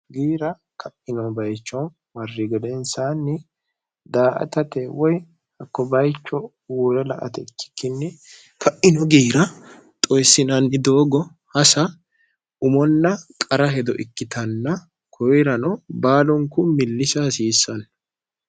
giira ka'ino bayicho marri gedeensaanni daa atate woy hakko bayicho uwura la ate ikkikkinni ka'ino giira xoyissinanni doogo hasa umonna qara hedo ikkitanna koyirano baalunku millisa hasiissanno